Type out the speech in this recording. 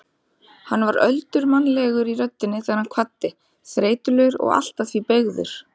Hann var öldurmannlegur í röddinni þegar hann kvaddi, þreytulegur og allt að því beygður.